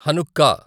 Hanukkah